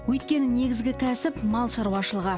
өйткені негізгі кәсіп мал шаруашылығы